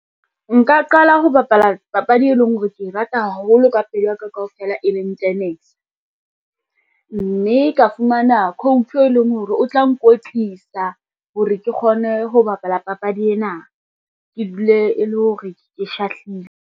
Nka qala ho bapala papadi, e leng hore ke e rata haholo ka pelo ya ka kaofela e leng tenese, mme ke fumane coach e leng hore o tla nkwetlisa hore ke kgone ho bapala papadi ena, ke dule e le hore ke shahlile.